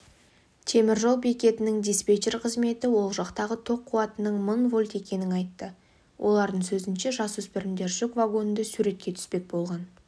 темір жол бекетінің диспетчер қызметі ол жақтағы тоқ қуатының мың вольт екенін айтты олардың сөзінше жасөспірімдер жүк вагонында суретке түспек болған